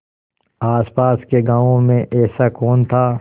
आसपास के गाँवों में ऐसा कौन था